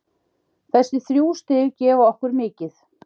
Þessi þrjú stig gefa okkur mikið.